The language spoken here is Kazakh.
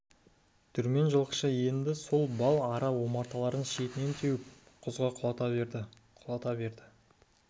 дүрмен жылқышы енді бал ара омарталарын шетінен теуіп құзға құлата берді құлата берді